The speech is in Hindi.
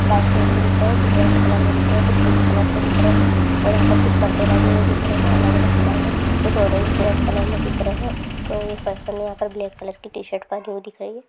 व्हाइट कलर के दिख रहे हैं कुछ रेड कलर में दिख रहे हैं कुछ पिंक कलर के दिख रहे हैं और यहां पर कुछ परदे लगे हुए देख रहे हैं अलग-अलग कलर में छ ऑरेंज डॉट कलर में दिख रहे हैं कोइ पर्सन यहाँ पर ब्लैक कलर की टीशर्ट पहनी हुई दिख रही हैं।